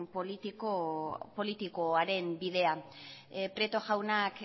politikoaren bidea prieto jaunak